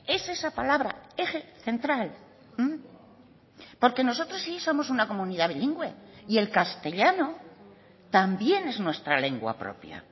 es esa palabra eje central porque nosotros sí somos una comunidad bilingüe y el castellano también es nuestra lengua propia